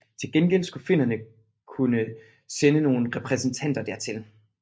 Til gengæld skulle finnerne kunne sende nogle repræsentanter dertil